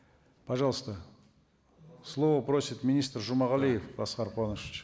пожалуйста слово просит министр жумагалиев аскар куанышевич